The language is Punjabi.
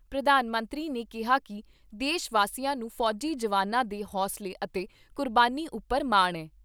ਪ੍ਰਧਾਨ ਮੰਤਰੀ ਨੇ ਕਿਹਾ ਕਿ ਦੇਸ਼ ਵਾਸੀਆਂ ਨੂੰ ਫੌਜੀ ਜਵਾਨਾਂ ਦੇ ਹੌਸਲੇ ਅਤੇ ਕੁਰਬਾਨੀ ਉਪਰ ਮਾਣ ਏ।